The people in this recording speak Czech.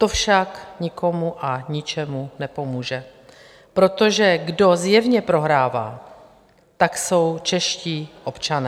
To však nikomu a ničemu nepomůže, protože kdo zjevně prohrává, tak jsou čeští občané.